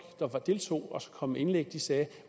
der deltog og kom med indlæg sagde